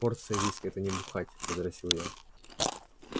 порция виски это не бухать возразил я